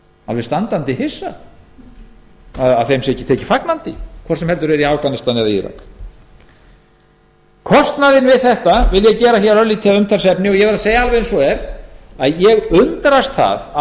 alveg standandi hissa að þeim sé ekki tekið fagnandi hvort heldur sem er í afganistan eða írak ég vil gera hér að umtalsefni kostnaðinn við þetta ég verð að segja eins og er að ég undrast það að